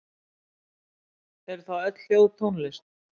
Eru þá öll hljóð tónlist?